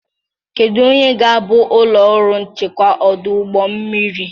Kedu onye ga-abụ ụlọ ọrụ nchekwa ọdụ ụgbọ mmiri?